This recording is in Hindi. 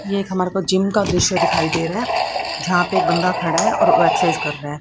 ये हमारे को जिम का दृश्य दिखाई दे रहा है जहां पे एक बंदा खड़ा है और वो एक्सरसाइज कर रहा है।